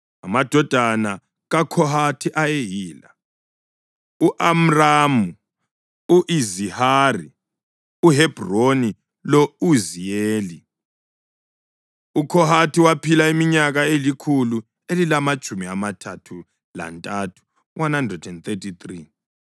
Amadodana kaKhohathi ayeyila: u-Amramu, u-Izihari, uHebhroni lo-Uziyeli. UKhohathi waphila iminyaka elikhulu elilamatshumi amathathu lantathu (133).